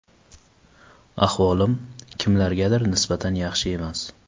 Ahvolim, kimlargadir nisbatan yaxshi emas.